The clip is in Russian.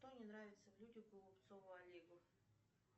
что не нравится в людях голубцову олегу